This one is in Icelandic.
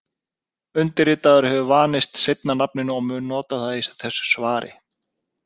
Undirritaður hefur vanist seinna nafninu og mun nota það í þessu svari.